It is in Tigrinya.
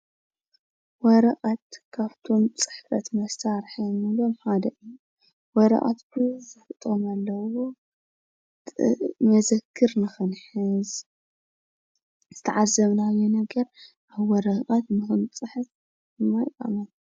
ወረቀት ካብቶም ፅሕፈት መሳሪሒ እንብሎም ሓደ እዩ። ወረቀት ቡዙሕ ጥቅሚ ዘለዎ መዘክር ፣ዝተዓዘብናዮ ነገር ኣብ ቀረቀት ንክንፅሕፍ እንጥቀመሉ።